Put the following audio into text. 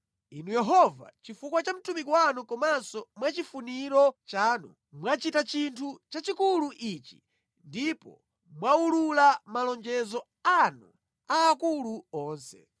Inu Yehova, chifukwa cha mtumiki wanu komanso mwa chifuniro chanu, mwachita chinthu chachikulu ichi ndipo mwawulula malonjezo anu aakulu onse.